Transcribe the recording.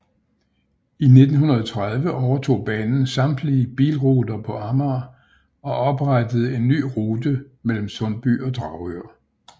I 1930 overtog banen samtlige bilruter på Amager og oprettede en ny rute mellem Sundby og Dragør